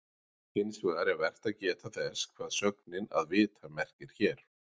Hins vegar er vert að geta þess hvað sögnin að vita merkir hér.